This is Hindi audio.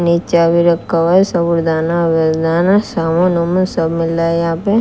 मिर्चा भी रखा हुआ है साबूदाना आबूडाना साबुन ओबुन सब मिला रहा यहां पे--